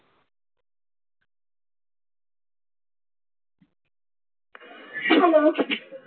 hello